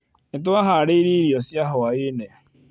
Nĩ twahaarĩirie irio cia hwaĩ-inĩ.